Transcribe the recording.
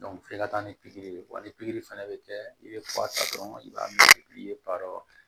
f'i ka taa ni pikiri ye wa ni pikiri fana bɛ kɛ i bɛ fura ta dɔrɔn i b'a ye pikiri badɔ